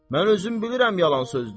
Mən özüm bilirəm yalan sözdür.